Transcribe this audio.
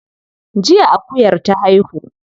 Jiya akuyar ta haihu.